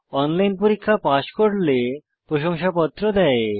online পরীক্ষা pass করলে প্রশংসাপত্র দেয়